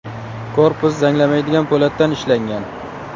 Korpus zanglamaydigan po‘latdan ishlangan.